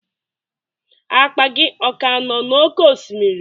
Akpa gị ọ ka nọ n'oké osimiri?